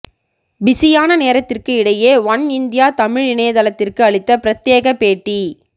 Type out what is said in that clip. பிஸியான நேரத்திற்கு இடையே ஒன் இந்தியா தமிழ் இணையதளத்திற்கு அளித்த பிரத்யேக பேட்டி